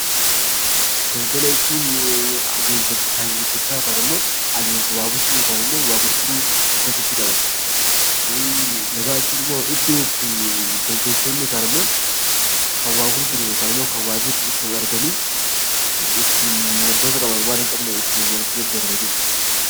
Daldala jechuun adeemsa bittaa yookiin gurgurtaa yookaan adeemsa waa bituu fi gurguruu of keessatti qabata. Gabaa jechuun immoo iddoo itti daldaltoonni yookiin kan waa gurguru yookaan kan waa bitu itti wal arganii wantoota barbaadan kan itti wal geeddaranidha.